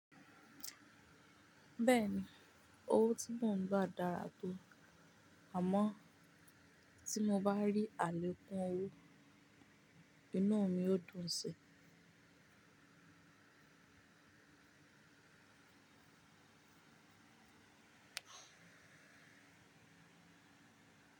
Bẹ́ẹ̀ni owó tí mò ń gba dára tó àmọ́ tí mo bá rí àlèkun owó, inú mi ó dùn si.